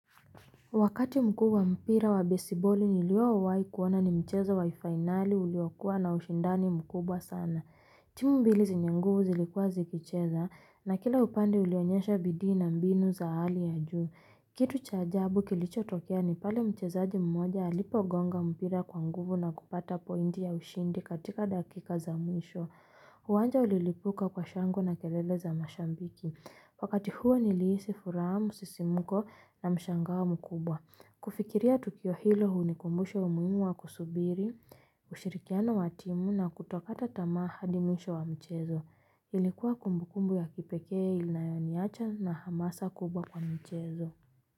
Wakati mkubwa wa mpira wa besiboli nilio wai kuona ni mcheza waifinali uliwakua na ushindani mkubwa sana. Timu mbili zenyenguvu zilikua zikicheza na kila upande ulionyesha bidii na mbinu za hali ya juu. Kitu chaajabu kilicho tokea ni pale mchezaji mmoja alipo gonga mpira kwanguvu na kupata pointi ya ushindi katika dakika za mwisho. Huanja ulilipuka kwa shangwe na kelele za mashabiki, wakati huo niliisi furaha, sisimuko na mshangao mkubwa. Kufikiria Tukio hilo hu ni kumbusha umuhimu wa kusubiri, ushirikiano watimu na kutokata tamaa hadimwisho wa mchezo. Ilikuwa kumbukumbu ya kipeke inayoniacha na hamasa kubwa kwa mchezo.